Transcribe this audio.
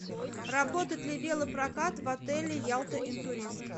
работает ли велопрокат в отеле ялта интурист